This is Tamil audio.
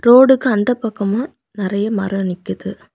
ரோடுக்கு அந்தப் பக்கமா நெறிய மரம் நிக்குது.